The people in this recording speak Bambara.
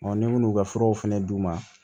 ni minnu ka furaw fɛnɛ d'u ma